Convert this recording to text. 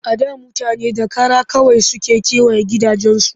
A da mutane da kara kawai suke kewaye gidajensu